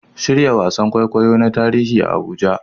Shirya wasan kwaikwayo na tarihi a Abuja